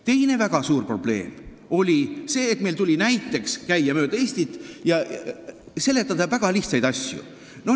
Teine väga suur probleem oli see, et meil tuli käia mööda Eestit ja seletada väga lihtsaid asju.